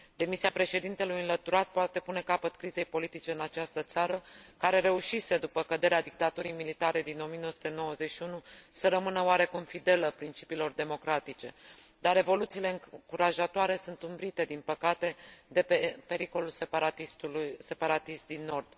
Demisia președintelui înlăturat poate pune capăt crizei politice în această țară care reușise după căderea dictaturii militare din 1991 să rămână oarecum fidelă principiilor democratice, dar revoluțiile încurajatoare sunt umbrite din păcate de pericolul separatist din nord.